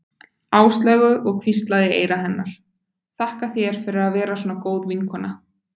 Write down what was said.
Áslaugu og hvíslaði í eyra hennar: Þakka þér fyrir að vera svona góð vinkona